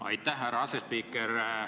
Aitäh, härra asespiiker!